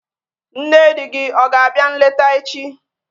Nne di gị ọ ga-abịa nleta echi?